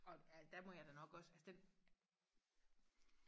og der må jeg jo nok også altså den